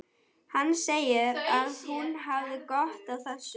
Hann segir að hún hafi gott af þessu.